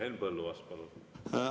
Henn Põlluaas, palun!